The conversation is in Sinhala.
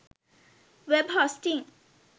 web hosting